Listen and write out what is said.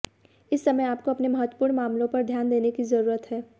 इस समय आपको अपने महत्वपूर्ण मामलों पर ध्यान देने की जरूरत है